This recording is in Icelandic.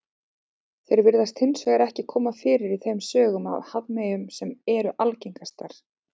Þeir virðast hins vegar ekki koma fyrir í þeim sögum af hafmeyjum sem eru algengastar.